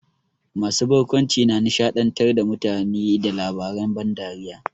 Masu barkwanci na nishaɗantar da mutane da labaren ban dariya.